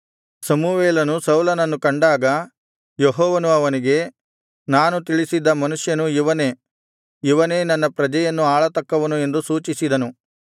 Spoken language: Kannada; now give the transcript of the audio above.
ಸಮುವೇಲನು ಸೌಲನನ್ನು ಕಂಡಾಗ ಯೆಹೋವನು ಅವನಿಗೆ ನಾನು ತಿಳಿಸಿದ್ದ ಮನುಷ್ಯನು ಇವನೇ ಇವನೇ ನನ್ನ ಪ್ರಜೆಯನ್ನು ಆಳತಕ್ಕವನು ಎಂದು ಸೂಚಿಸಿದನು